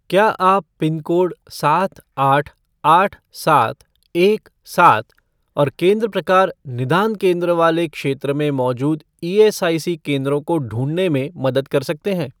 क्या आप पिनकोड सात आठ आठ सात एक सात और केंद्र प्रकार निदान केंद्र वाले क्षेत्र में मौजूद ईएसआईसी केंद्रों को ढूँढने में मदद कर सकते हैं?